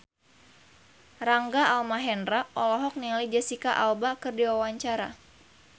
Rangga Almahendra olohok ningali Jesicca Alba keur diwawancara